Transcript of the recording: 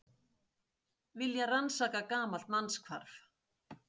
Vilja rannsaka gamalt mannshvarf